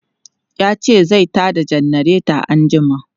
Ya ce zai ta da janareta anjima.